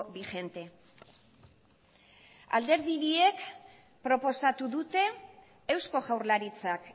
vigente alderdi biek proposatu dute eusko jaurlaritzak